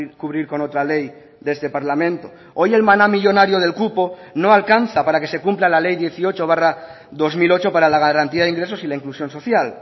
cubrir con otra ley de este parlamento hoy el maná millónario del cupo no alcanza para que se cumpla la ley dieciocho barra dos mil ocho para la garantía de ingresos y la inclusión social